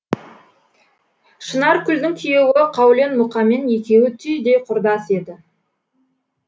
шынаркүлдің күйеуі қаулен мұқамен екеуі түйдей құрдас еді